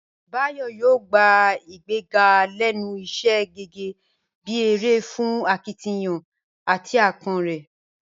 Báyò̩ yóò gbá ìgbéga lé̩nu is̩é̩ gé̩gé̩ bí èrè fún akitiyan àti aápo̩n rè̩